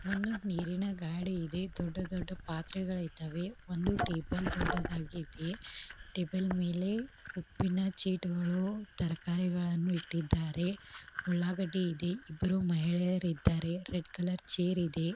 ಒಂದು ನೀರಿನ ಗಾಡಿ ಇದೆ ದೊಡ್ಡ ದೊಡ್ಡ ಪಾತ್ರೆಗಳು ಇದ್ದವೆ ಒಂದು ಟೇಬಲ್ ದೊಡ್ಡದಾಗಿ ಇದೆ ಟೇಬಲ್ ಮೇಲೆ ಉಪ್ಪಿನ ಚೀಲಗಳು ತರಕಾರಿಗಳನ್ನು ಇಟ್ಟಿದ್ದಾರೆ ಉಳ್ಳಾಗಡ್ಡೆ ಇದೆ ಇಬ್ಬರು ಮಹಿಳೆಯರು ಇದ್ದಾರೆ ರೆಡ್ ಕಲರ್ ಚೇರ್ ಇದೆ.